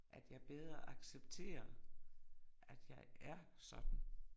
At jeg bedre accepterer, at jeg er sådan